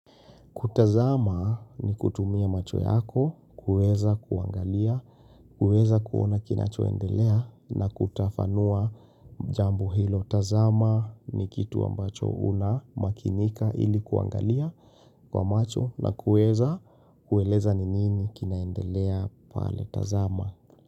Kutazama, ni kutumia macho yako, kuweza kuangalia, kuweza kuona kinachoendelea na kutafanua jambo hilo, tazama, ni kitu ambacho unamakinika ili kuangalia kwa macho na kuweza kueleza ni nini kinaendelea pale tazama.